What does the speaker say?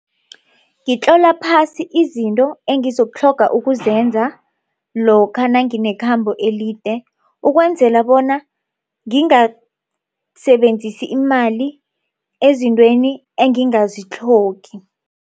Ngitlola phasi izinto engizokutlhoga ukuzenza lokha nanginekhambo elide ukwenzela bona ngingasebenzisi imali ezintweni engingazitlhogi.